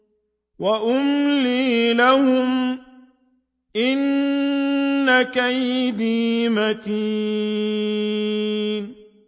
وَأُمْلِي لَهُمْ ۚ إِنَّ كَيْدِي مَتِينٌ